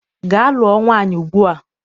Gaa lụọ nwaanyị ugbua!